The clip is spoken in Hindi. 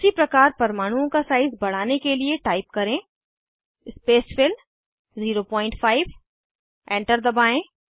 उसी प्रकार परमाणुओं का साइज़ बढ़ाने के लिए टाइप करें स्पेसफिल 05 एंटर दबाएं